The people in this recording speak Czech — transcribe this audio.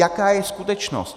Jaká je skutečnost?